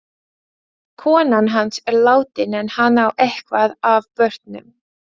Konan hans er látin en hann á eitthvað af börnum.